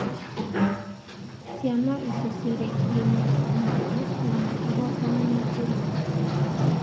Ciana icio ciarikirie mathomo mao na makĩhootana na njĩra nene.